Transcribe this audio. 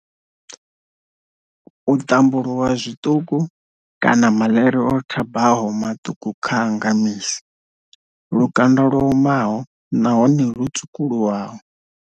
U ṱambuluwa zwiṱuku kana maḽeri o thabaho maṱuku kha a nga misi. Lukanda lwo omaho nahone lwo tswukuluwaho.